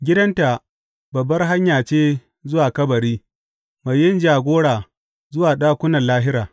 Gidanta babbar hanya ce zuwa kabari mai yin jagora zuwa ɗakunan lahira.